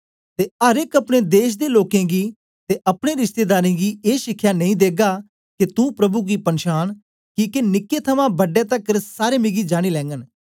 ते अर एक अपने देश दे लोकें गीं ते अपने रिश्तेदारें गीं ए शिखया नेई देगा के तू प्रभु गी पनछान किके निक्के थमां बड्डे तकर सारे मिगी जानी लैगन